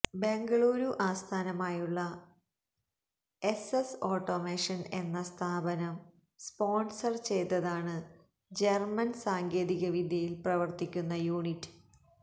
ബെംഗളൂരു ആസ്ഥാനമായുള്ള S S automation എന്ന സ്ഥാപനം സ്പോണ്സര് ചെയ്തതാണ് ജര്മ്മന് സാങ്കേതികവിദ്യയില് പ്രവര്ത്തിക്കുന്ന യൂണിറ്റ്